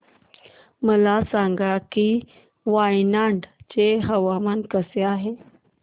मला सांगा की वायनाड चे हवामान कसे आहे